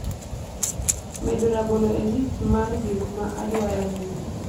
medo rabolo e list mar gik ma adwaro nyiewo